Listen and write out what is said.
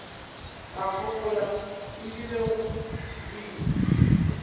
a fokola ebile go boima